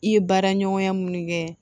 I ye baaraɲɔgɔnya minnu kɛ